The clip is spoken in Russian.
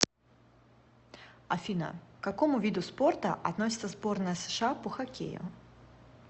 афина к какому виду спорта относится сборная сша по хоккею